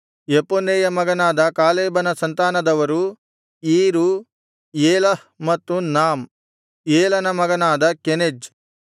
ಯೆಫುನ್ನೆಯ ಮಗನಾದ ಕಾಲೇಬನ ಸಂತಾನದವರು ಈರು ಏಲಹ್ ಮತ್ತು ನಾಮ್ ಏಲನ ಮಗನಾದ ಕೆನಜ್‌